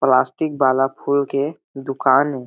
Plastic वाला फूल के दुकान ए।